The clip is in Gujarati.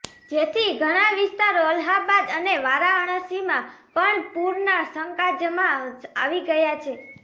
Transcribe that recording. જેથી ઘણા વિસ્તારો અલ્હાબાદ અને વારાણસીમાં પણ પુરના સકંજામાં આવી ગયા છે